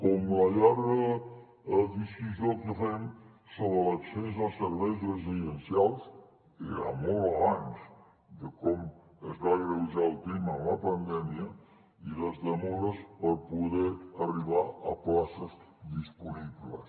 com la llarga disquisició que fem sobre l’accés als serveis residencials era molt abans de com es va agreujar el tema amb la pandèmia i les demores per poder arribar a places disponibles